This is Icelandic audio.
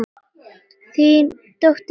Þín dóttir, Hildur Edda.